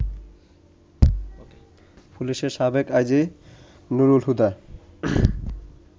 পুলিশের সাবেক আইজি নুরুল হুদা